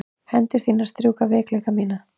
Hendur þínar strjúka veikleika mína.